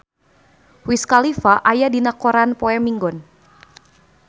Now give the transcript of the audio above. Wiz Khalifa aya dina koran poe Minggon